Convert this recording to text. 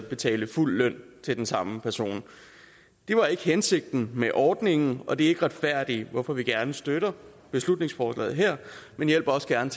betale fuld løn til den samme person det var ikke hensigten med ordningen og det er ikke retfærdigt hvorfor vi gerne støtter beslutningsforslaget her men også gerne